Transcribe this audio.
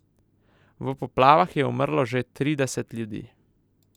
V poplavah je umrlo že trideset ljudi.